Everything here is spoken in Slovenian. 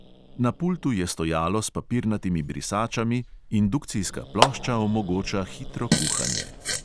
Na pultu je stojalo s papirnatimi brisačami, indukcijska plošča omogoča hitro kuhanje.